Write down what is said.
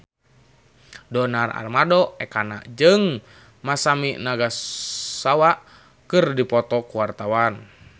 Donar Armando Ekana jeung Masami Nagasawa keur dipoto ku wartawan